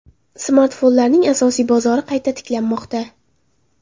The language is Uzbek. Smartfonlarning asosiy bozori qayta tiklanmoqda.